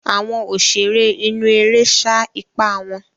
Àwọn òṣèré inú eré sá ipá wọn.